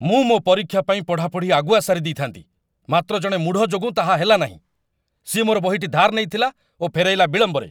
ମୁଁ ମୋ ପରୀକ୍ଷା ପାଇଁ ପଢ଼ାପଢ଼ି ଆଗୁଆ ସାରିଦେଇଥାନ୍ତି, ମାତ୍ର ଜଣେ ମୂଢ଼ ଯୋଗୁଁ ତାହା ହେଲା ନାହିଁ, ସିଏ ମୋର ବହିଟି ଧାର୍ ନେଇଥିଲା ଓ ଫେରାଇଲା ବିଳମ୍ବରେ।